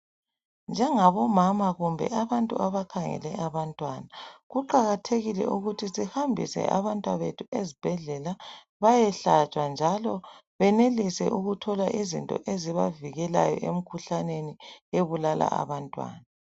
Njengabomama kumbe abantu abakhangele abantwana kuqakathekile ukuthi sihambise abantwabethu ezibhedlela bayehlatshwa njalo benelise ukuthola izinto ezibavikelayo emkhuhlaneni ebulala abantwana.